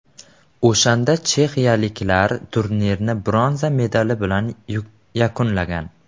O‘shanda chexiyaliklar turnirni bronza medali bilan yakunlagan.